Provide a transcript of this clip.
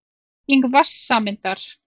Bygging vatnssameindar.